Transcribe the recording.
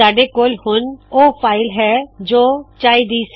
ਸਾੱਡੇ ਕੋਲ ਹੁਣ ਓਹ ਫ਼ਾਇਲ ਹੈ ਜੋ ਚਾਹੀ ਦੀ ਸੀ